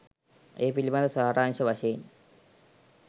ඒ පිළිබඳ සාරාංශ වශයෙන්